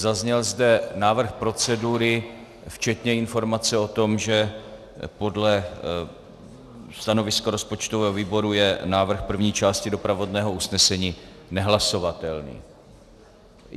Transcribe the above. Zazněl zde návrh procedury včetně informace o tom, že podle stanoviska rozpočtového výboru je návrh první části doprovodného usnesení nehlasovatelný.